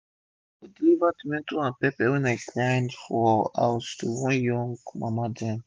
i dey go deliver tomato and pepper wey i bend for house to one young mama dem